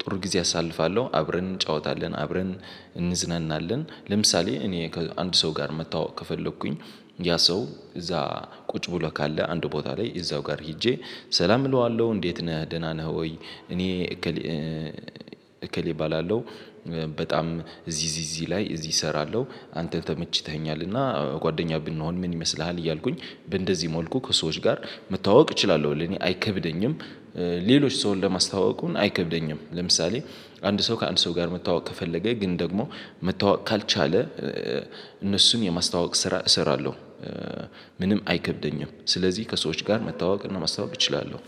ጥሩ ጊዜ አሳልፋለሁ። አብረን እንጫወታለን አብረን እንዝናናለን። ለምሳሌ እኔ ከአንድ ሰው ጋር መታዋወቅ ከፈለኩኝ ያ ሰው እዛ ቁጭ ብሎ ካለ አንድ ቦታ ላይ እዛው ጋር ሄጄ ሰላም እለዋለሁ እንዴት ነህ ደህና ነህ ወይ? እኔ እከሌ እከሌ እባላለሁ። በጣም እዚህ እዚህ ላይ እዚህ እሰራለሁ አንተ ተመችተኸኛል እና ጓደኛ ብንሆን ምን ይመስልሃል? እያልኩኝ እንደዚህ መልኩ ከሰዎች ጋር መታወቅ እችላለሁ ለኔ አይከብደኝም። ሌሎች ሰውን ለማስታወቁን አይከብደኝም ለምሳሌ አንድ ሰው ከአንድ ሰው ጋር መተዋወቅ ከፈለገ ግን ደግሞ መተዋወቅ ካልቻለ እነሱን የማስታወቅ ስራ እሰራለሁ። ምንም አይከብደኝም ስለዚህ ከሰዎች ጋር መታዋወቅ እና ማስታዋወቅ እችላለሁ።